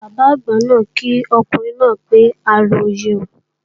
Bàbá àgbà náà kí ọkùnrin náà pé a róyè o